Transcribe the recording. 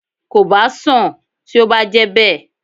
Kò bá sán-àn tí ó bá jẹ́ bẹ́ẹ̀